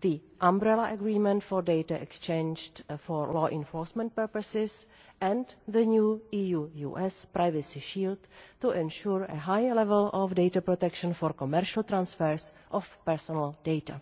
the Umbrella Agreement for data exchanged for law enforcement purposes, and the new EU US Privacy Shield to ensure a higher level of data protection for commercial transfers of personal data.